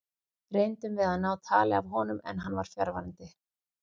Reyndum við að ná tali af honum en hann var fjarverandi.